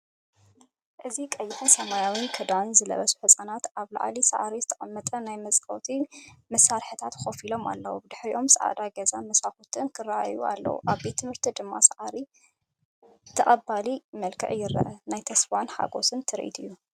እዚ ቀይሕን ሰማያውን ክዳን ዝለበሱ ህጻናት ኣብ ልዕሊ ሳዕሪ ዝተቐመጠ ናይ መጻወቲ መሳርሒታት ኮፍ ኢሎም ኣለዉ። ድሒሮም ጻዕዳ ገዛን መስኮታትን ክረኣዩ እንከለዉ፡ ኣብ መሬት ድማ ሳዕሪ ብተቐባሊ መልክዕ ይረአ። ናይ ተስፋን ሓጎስን ትርኢት'ዩ።